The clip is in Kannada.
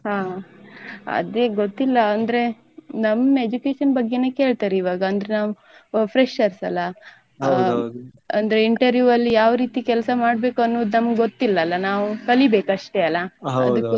ಹಾ ಅದೇ ಗೊತ್ತಿಲ್ಲ ಅಂದ್ರೆ ನಮ್ಮ್ education ಬಗ್ಗೆನೇ ಕೇಳ್ತಾರೆ ಇವಾಗ ಅಂದ್ರೆ ನಾವ್ freshers ಅಲ್ಲಾ ಅಂದ್ರೆ interview ಅಲ್ಲಿ ಯಾವ್ ರೀತಿ ಕೆಲ್ಸ ಮಾಡ್ಬೇಕು ಅನ್ನುದು ನಮ್ಗೆ ಗೊತ್ತಿಲ್ಲ ಅಲ್ಲ ನಾವ್ ಕಲಿಬೇಕು ಅಷ್ಟೇ ಅಲ್ಲ.